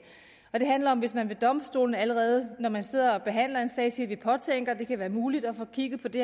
det handler om hvis man ved domstolene allerede når man sidder og behandler en sag siger at man påtænker at det kan være muligt at få kigget på det